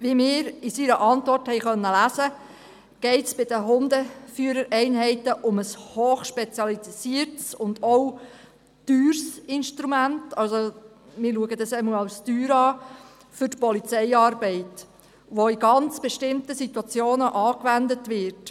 Wie wir in seiner Antwort lesen konnten, geht es bei den Hundeführereinheiten um ein hoch spezialisiertes und auch um ein teures Instrument der Polizeiarbeit, das nur in sehr speziellen Situationen angewendet wird.